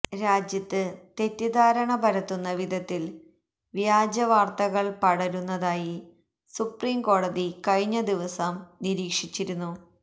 രാജ്യത്ത് തെറ്റിദ്ധാരണ പരത്തുന്ന വിധത്തില് വ്യാജ വാര്ത്തകള് പടരുന്നതായി സുപ്രീംകോടതി കഴിഞ്ഞ ദിവസം നിരീക്ഷിച്ചിരുന്നു